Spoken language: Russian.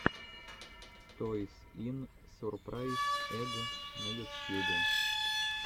тойс ин сурпрайз эгг на ютюбе